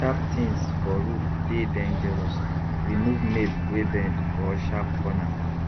sharp things for roof dey dangerous remove nail wey bend or sharp corner